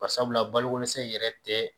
Bari sabula balo ko dɛsɛ in yɛrɛ tɛ